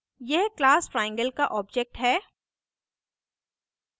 यह class triangle का object है